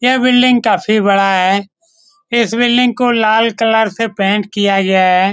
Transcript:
यह बिल्डिंग काफी बड़ा है। इस बिल्डिंग को लाल कलर से पेंट किया गया है।